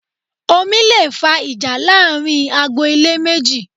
Omi leè fa ìjà láàrin agbo-ilé méjì